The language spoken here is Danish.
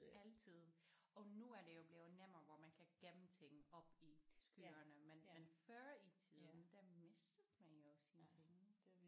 Altid og nu er det jo blevet nemmere hvor man kan gemme ting oppe i skyerne men men før i tiden der mistede man jo sine ting